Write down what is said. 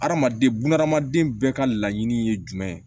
Hadamaden buna adamaden bɛɛ ka laɲini ye jumɛn ye